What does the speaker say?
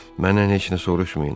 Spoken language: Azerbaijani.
Məndən heç nə soruşmayın.